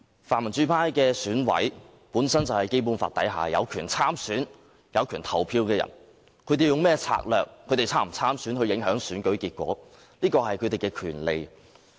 泛民主派的選舉委員會委員本身就是《基本法》之下有權參選、有權投票的人，他們用甚麼策略，或是否參選以影響選舉結果，這是他們的權利。